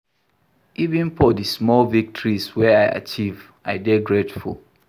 Even for di small victories wey I achieve, I dey grateful.